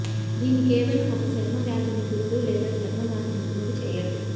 దీన్ని కేవలం ఒక చర్మవ్యాధి నిపుణుడు లేదా చర్మవ్యాధి నిపుణుడు చేయండి